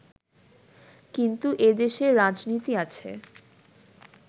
কিন্তু এদেশে রাজনীতি আছে